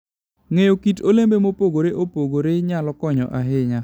Ng'eyo kit olembe mopogore opogore nyalo konyo ahinya.